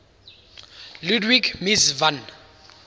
ludwig mies van